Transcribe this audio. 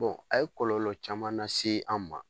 a ye kɔlɔlɔ caman na se an ma.